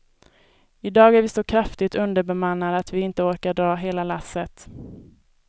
I dag är vi så kraftigt underbemannade att vi inte orkar dra hela lasset.